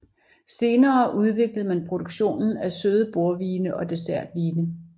Senere udviklede man produktionen af søde bordvine og dessertvine